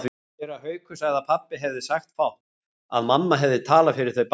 Séra Haukur sagði að pabbi hefði sagt fátt, að mamma hefði talað fyrir þau bæði.